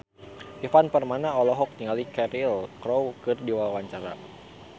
Ivan Permana olohok ningali Cheryl Crow keur diwawancara